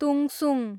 तुङसुङ